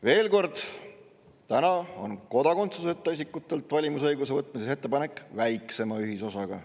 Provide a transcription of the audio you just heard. Veel kord: kodakondsuseta isikutelt valimisõiguse äravõtmise ettepanek on täna väiksema ühisosaga.